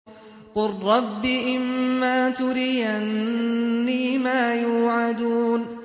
قُل رَّبِّ إِمَّا تُرِيَنِّي مَا يُوعَدُونَ